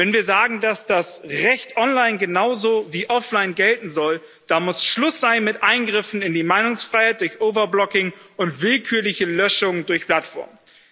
Wenn wir sagen, dass das Recht online genauso wie offline gelten soll, dann muss Schluss sein mit Eingriffen in die Meinungsfreiheit durch overblocking und willkürliche Löschung durch Plattformen.